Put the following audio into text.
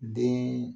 Den